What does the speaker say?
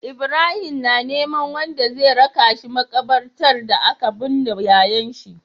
Ibrahim na neman wanda zai raka shi makabartar da aka bunne yayan shi